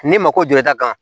N'i mako jɔlen d'a kan